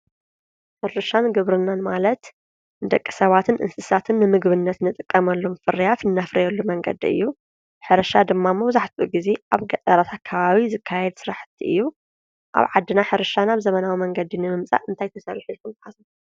ሕርሻን ግብርናን ማለት ደቂ ሰባትን እንስሳትን ንምግብነት ንጥቀመሎም ፍርያፍ ነፍርየሉ መንገዲ እዩ፡፡ ሕርሻ ድማ መብዛሕትኡ ጊዜ ኣብ ገጠራት ኣካባቢ ዝካየድ ስራሕቲ እዩ፡፡ ኣብ ዓድና ሕርሻ ናብ ዘመናዊ መንገዲ ንምምጻእ እንታይ ተሰሪሑ ኢልኩም ትሓስቡ?